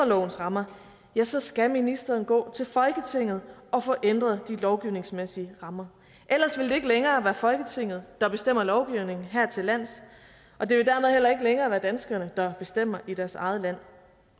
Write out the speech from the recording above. lovens rammer ja så skal ministeren gå til folketinget og få ændret de lovgivningsmæssige rammer ellers vil det ikke længere være folketinget der bestemmer lovgivningen hertillands og det vil dermed heller ikke længere være danskerne der bestemmer i deres eget land